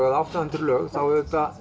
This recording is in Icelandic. eða átta hundruð lög þá